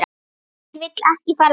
Hver vill ekki fara þangað?